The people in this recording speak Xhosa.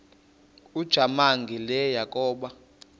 ujamangi le yakoba